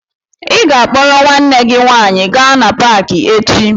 Ị ga-akpọrọ nwanne gị nwaanyị gaa na paakị echi!